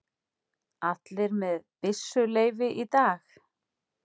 Allir með byssuleyfi í lagi